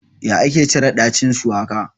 Ya ake cire ɗacin shuwaka?